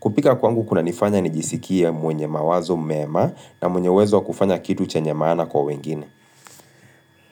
Kupika kwangu kunanifanya nijisikia mwenye mawazo mema na mwenye uwezo wa kufanya kitu chenye maana kwa wengine.